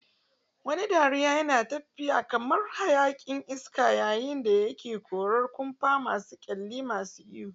Wani dariya yana tafiya kamar hayaƙin iska yayin da yake korar kumfa masu kyalli, masu iyo.